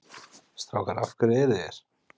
Strákar af hverju eruð þið hér?